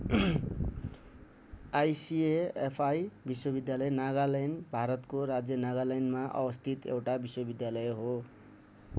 ICFAI विश्वविद्यालय नागालैन्ड भारतको राज्य नागालैन्डमा अवस्थित एउटा विश्वविद्यालय हो।